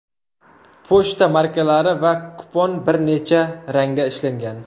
Pochta markalari va kupon bir necha rangda ishlangan.